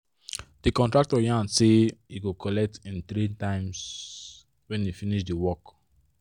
all d small small money wey bank wey bank um da comot um from my um aza da come plenty